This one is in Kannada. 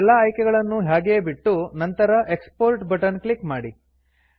ಈಗ ಎಲ್ಲ ಆಯ್ಕೆಗಳನ್ನೂ ಹಾಗೇ ಬಿಟ್ಟು ನಂತರ ಎಕ್ಸ್ಪೋರ್ಟ್ ಬಟನ್ ಕ್ಲಿಕ್ ಮಾಡಿ